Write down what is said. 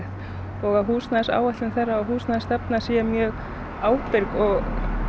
og að húsnæðisáætlun þeirra og húsnæðisstefna sé mjög ábyrg og